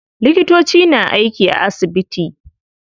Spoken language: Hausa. Likitoci na aiki a asibiti.